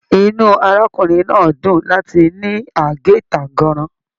Inú arákùnrin náà dún láti ní age tànganran.